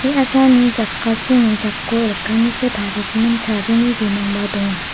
me·asani jakasini jako lekkaniko tarigimin chabini bimangba donga.